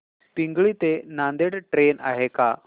पिंगळी ते नांदेड ट्रेन आहे का